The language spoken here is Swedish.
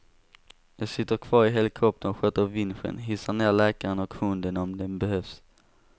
Jag sitter kvar i helikoptern och sköter vinschen, hissar ner läkaren och hunden om den behövs.